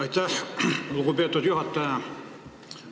Aitäh, lugupeetud juhataja!